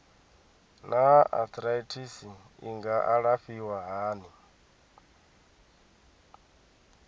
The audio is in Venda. naa arthritis i nga alafhiwa hani